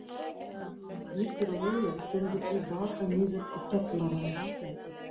Birkir og Elías gengu til baka niður í kjallarann.